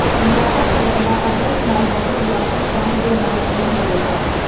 ਵਿਆਪਕ ਭੜਕਨਾ ਆਦਰਸ਼ ਹੱਲ ਬਹੁਤ ਵਿਆਪਕ ਪੈਂਟ ਦੇ ਨਾਲ ਜੀਨ ਹੋਵੇਗਾ